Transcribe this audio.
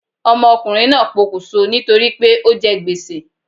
Ọmọ ọkunrin naa pokùn so ni tori pe o jẹ gbèsè